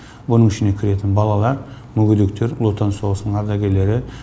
бұның ішінде кіретін балалар мүгедектер ұлы отан соғысының ардагерлері